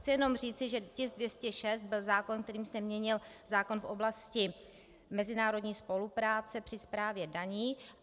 Chci jednom říci, že tisk 206 byl zákon, kterým se měnil zákon v oblasti mezinárodní spolupráce při správě daní.